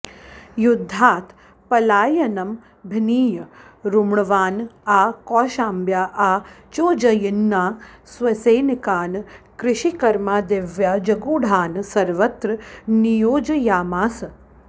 युद्धात् पलायनमभिनीय रुमण्वान् आ कौशाम्ब्या आ चोज्जयिन्याः स्वसैनिकान् कृषिकर्मादिव्याजगूढान् सर्वत्र नियोजयामास